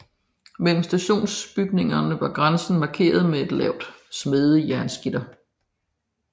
Mellem de to stationsbygninger var grænsen markeret af et lavt smedejernsgitter